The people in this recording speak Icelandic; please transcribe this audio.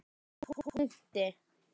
Með punkti.